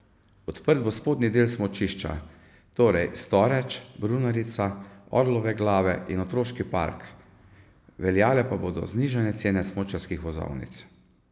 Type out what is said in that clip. Odprt bo spodnji del smučišča, torej Storeč, Brunarica, Orlove glave in otroški park, veljale pa bodo znižane cene smučarskih vozovnic.